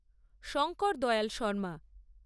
Shankardayal Sharma